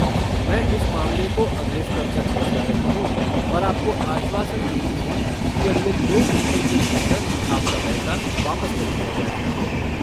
मैं इस मामले को अगले स्तर तक पहुंचा रही हूँ और आपको आश्वासन देती हूँ कि अगले दो घंटों के भीतर आपका पैसा वापस कर दिया जाएगा।